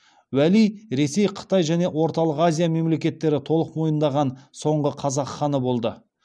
уәли ресей қытай және орталық азия мемлекеттері толық мойындаған соңғы қазақ ханы болды